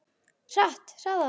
Hratt, hraðar.